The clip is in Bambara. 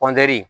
kɔntiniye